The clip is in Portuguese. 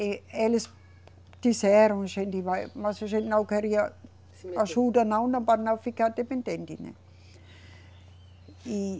E eles disseram, a gente vai, mas a gente não queria ajuda não, né, para não ficar dependente, né. E